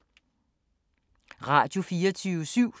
Radio24syv